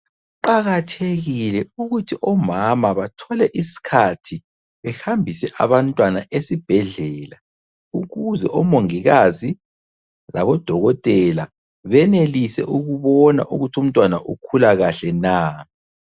Kuqakathekile ukuthi omama bathole isikhathi behambise abantwana esibhedlela, ukuze omongikazi labodokotela benelise ukubona ukuthi umntwana ukhula kahle na.